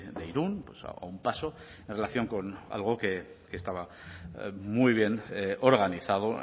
de irún a un paso en relación con algo que estaba muy bien organizado